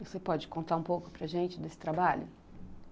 Você pode contar um pouco para gente desse trabalho?